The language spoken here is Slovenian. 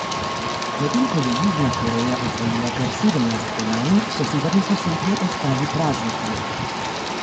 Medtem ko je Južna Koreja osvojila kar sedemnajst kolajn, so severni sosedje ostali praznih rok.